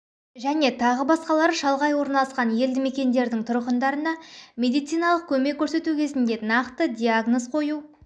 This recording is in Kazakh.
және тағы басқалары шалғай орналасқан елді мекендердің тұрғындарына медициналық көмек көрсету кезінде нақты диагноз қою